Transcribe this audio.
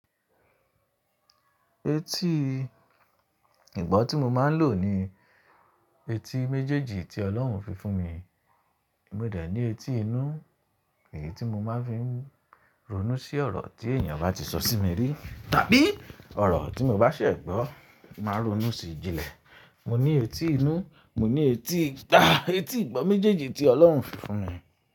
Etí ìgbọ́ tí mo máa ń lò ni etí méjèèjì tí Ọlọ́run fi fún mi. Mo dẹ̀ ní etí inú, èyí tí mo máa ń fi ronú sí ọ̀rọ̀ tí ènìyàn bá ti sọ sí mi rí, tàbí ọ̀rọ̀ tí mo bá ṣẹ gbọ́, màá ronú sí i jinlẹ̀. Mo ní etí inú, mo ní etí ita, etí ìgbọ́ méjèèjì tí Ọlọ́run fi fún mi.